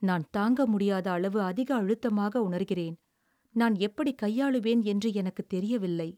"நான் தாங்க முடியாத அளவு அதிக அழுத்தமாக உணர்கிறேன். நான் எப்படிக் கையாளுவேன் என்று எனக்குத் தெரியவில்லை."